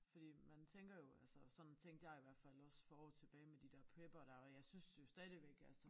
Fordi man tænker jo altså sådan tænkte jeg i hvert fald også for år tilbage med de der preppere der og jeg synes jo stadigvæk altså